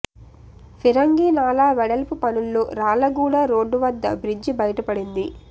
ఫిరంగీ నాళా వెడల్పు పనుల్లో రాళ్లగూడ రోడ్డు వద్ద బ్రిడ్జి బయటపడింది